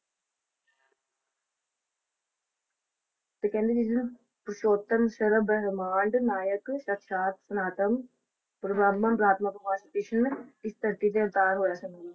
ਤੇ ਕਹਿੰਦੇ ਨੇ ਨਾ ਪੁਰਸ਼ੋਤਮ ਸਰਬ ਨਾਏਕ ਸਨਾਤਮ ਭਗਵਾਨ ਕ੍ਰਿਸ਼ਨ ਇਸ ਧਰਤੀ ਤੇ ਅਵਤਾਰ ਹੋਏ ਸਨ ਜੀ।